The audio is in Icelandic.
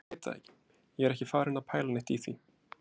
Ég bara veit það ekki. ég er ekki farinn að pæla neitt í því.